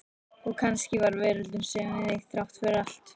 Og kannski var veröldin söm við sig, þrátt fyrir allt.